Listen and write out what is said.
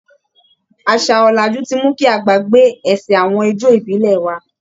Àṣà ọ̀làjú ti mú kí a gbàgbé ẹsẹ̀ awọn ijó ìbílẹ̀ wa.